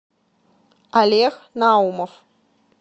олег наумов